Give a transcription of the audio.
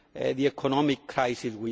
the economic crisis.